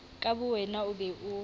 ka bowena o be o